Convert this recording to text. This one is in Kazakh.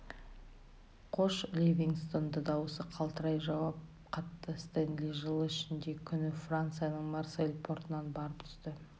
қош ливингстон да даусы қалтырай жауап қатты стенли жылы шілде күні францияның марсель портынан барып түсті